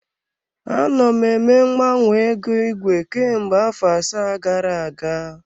Anọ m eme mgbanwe ego igwe kemgbe afọ asaa gara aga.